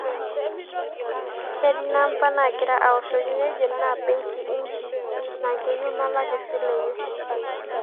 ketii namba nagira awoshoki nejo ne benki inchi naa keeyiu nalak esile enye